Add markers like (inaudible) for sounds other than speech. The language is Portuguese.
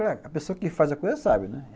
(unintelligible) a pessoa que faz a coisa sabe, né?